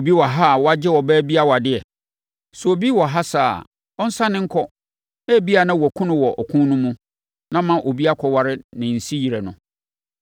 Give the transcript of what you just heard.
Obi wɔ ha a wagye ɔbaa bi awadeɛ? Sɛ obi wɔ ha saa a, ɔnsane nkɔ! Ebia na wɔakum no wɔ ɔko no mu, na ama obi akɔware ne siyere no.”